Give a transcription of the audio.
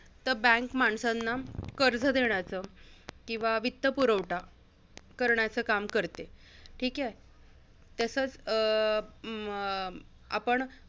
तर bank माणसांना कर्ज देण्याचं किंवा वित्त पुरवठा करण्याचं काम करते. ठीक आहे? तसचं अं अं आपण